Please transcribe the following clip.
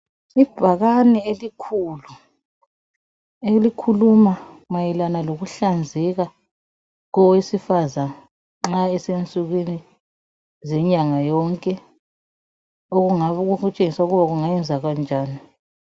Ibhakane elikhulu elikhuluma mayelana lokuhlanzeka kowesifazana nxa esiya ensukwini zenyanga yonke okungabe kukutshengisa ukuba ungayenza kanjani .